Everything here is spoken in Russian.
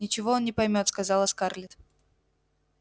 ничего он не поймёт сказала скарлетт